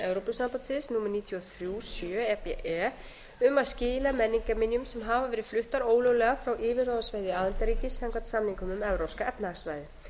evrópusambandsins númer níutíu og þrjú sjö e b e um að skila menningarminjum sem hafa verið fluttar ólöglega frá yfirráðasvæði aðildarríkis samkvæmt samningnum um evrópska efnahagssvæðið